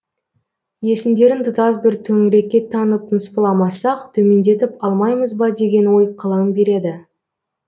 есімдерін тұтас бір төңірекке таңып ныспыламасақ төмендетіп алмаймыз ба деген ой қылаң береді